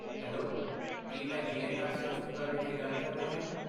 Hello! ਕੀ ਮੈਂ GNRC. ਹਸਪਤਾਲ ਵਿਖੇ ਗੱਲ ਕਰ ਰਿਹਾ ਹਾਂ?